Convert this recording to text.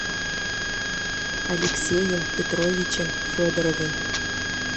алексеем петровичем федоровым